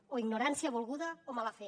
o ignorància volguda o mala fe